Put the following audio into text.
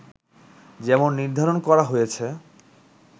যেমন নির্ধারণ করা হয়েছে